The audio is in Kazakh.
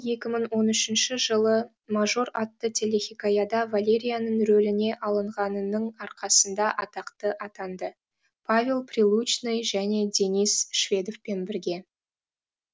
екі мың он үшінші жылы мажор атты телехикаяда валерияның рөліне алынғанының арқасында атақты атанды павел прилучный және денис шведовпен бірге